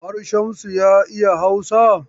Har Shamsu ya iya Hausa?